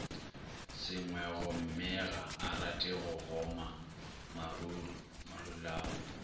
sengwegommega arate go goma marulao